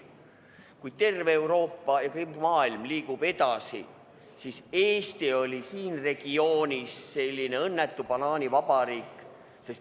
Kui terve Euroopa ja muu maailm liigub edasi, siis Eesti oli siin regioonis selline õnnetu banaanivabariik.